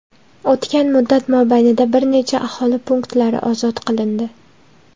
O‘tgan muddat mobaynida bir necha aholi punktlari ozod qilindi.